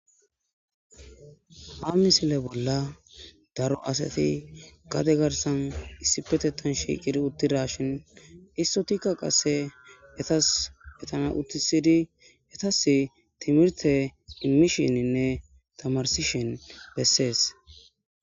Ha misile bolla daro asati gade garsan issippe shiqid utidashin issotika qase etappe etasi timrete imishinine tamarsishn besesi.